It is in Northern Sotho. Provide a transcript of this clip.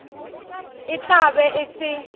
e tla be e se